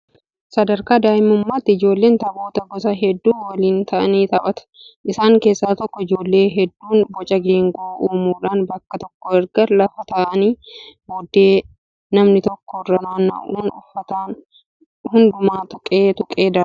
Sadarkaa daa'imummaatti ijoolleen taphoota gosa hedduu waliin ta'anii taphatu. Isaan keessaa tokko ijoolleen hedduun boca geengoo uumuudhaan bakka tokko erga lafa taa'anii booddee namni tokko irra naanna'uun uffataan hundumaa tuqee tuqee darba.